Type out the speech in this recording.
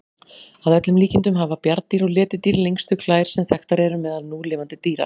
Að öllum líkindum hafa bjarndýr og letidýr lengstu klær sem þekktar eru meðal núlifandi dýra.